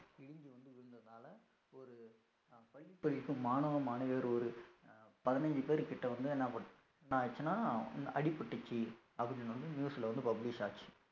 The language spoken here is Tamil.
இடிஞ்சு வந்து விழுந்ததுனால ஒரு அஹ் மாணவ மாணவியர் ஒரு அஹ் பதினஞ்சு பேர்கிட்ட வந்து என்ன ஆச்சுன்னா அடிபட்டிச்சு அப்படின்னு வந்து news ல வந்து publish ஆச்சு